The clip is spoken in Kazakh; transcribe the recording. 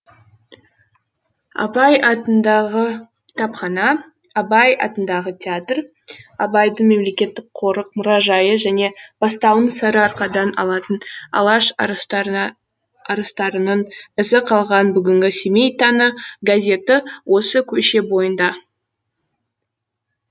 абай атындағы кітапхана абай атындағы театр абайдың мемлекеттік қорық мұражайы және бастауын сарыарқадан алатын алаш арыстарының ізі қалған бүгінгі семей таңы газеті осы көше бойында